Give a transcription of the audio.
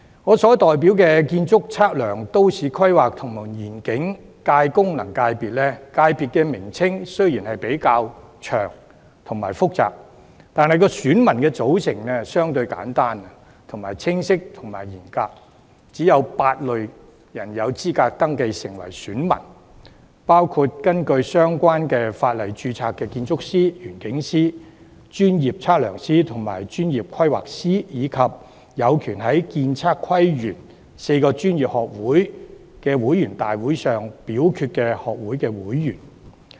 我所代表的建築、測量、都市規劃及園境界功能界別，名稱雖然較長和複雜，但選民組成相對簡單、清晰和嚴格，只有8類人士有資格登記成為選民，包括根據相關法例註冊的建築師、園境師、專業測量師和專業規劃師，以及有權在建測規園4個專業學會的會員大會上表決的學會會員。